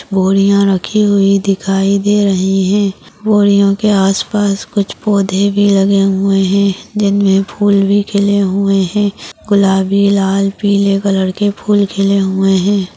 बोरिया रखी हुई दिखाई दे रही है बोरियों के आसपास कुछ पौधे भी लगे हुए है इनमे फूल भी खिले हुए है गुलाबी लाल पीले कलर के फूल खिले हुए है।